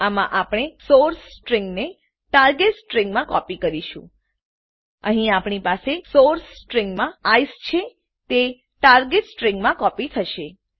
આમાં આપણે સોર્સ સ્ટ્રીંગને ટાર્ગેટ સ્ટ્રીંગમાં કોપી કરીશું અહીં આપણી પાસે સોર્સ સ્ટ્રીંગમાં આઇસીઇ છે તે ટાર્ગેટ સ્ટ્રીંગમાં કોપી થશે